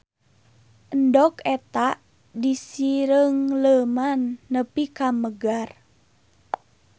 Endog eta disireungleuman nepi ka megar.